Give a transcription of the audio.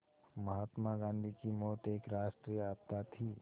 महात्मा गांधी की मौत एक राष्ट्रीय आपदा थी